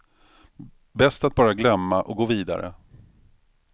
Bäst att bara glömma och gå vidare.